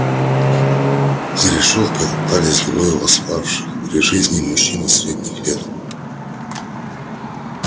за решёткой топтались двое восставших при жизни мужчины средних лет